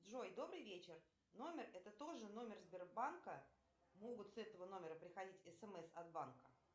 джой добрый вечер номер это тоже номер сбербанка могут с этого номера приходить смс от банка